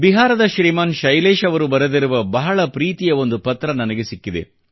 ಬಿಹಾರದ ಶ್ರೀಮಾನ್ ಶೈಲೇಶ್ ಅವರು ಬರೆದಿರುವ ಬಹಳ ಪ್ರೀತಿಯ ಒಂದು ಪತ್ರ ನನಗೆ ಸಿಕ್ಕಿದೆ